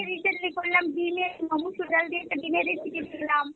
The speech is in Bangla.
করলাম ডিমের মসুর ডাল দিয়ে একটা ডিমের recipe করলাম।